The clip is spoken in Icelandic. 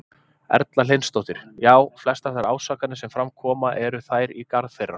Erla Hlynsdóttir: Já, flestar þær ásakanir sem fram koma, eru þær í garð þeirra?